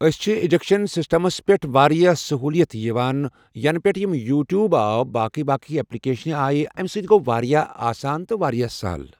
أسۍ چھِ education systems پٮ۪ٹھ واریاہ سہوٗلیت یِوان ینہٕ پٮ۪تھ یِم یوٗٹیوٗب آو باقٕے باقٕے اٮ۪پلکیشن آیہِ، امہِ سۭتۍ گوٚو واریاہ آسان تہٕ واریاہ سہل۔